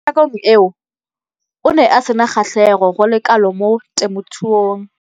Mo nakong eo o ne a sena kgatlhego go le kalo mo temothuong.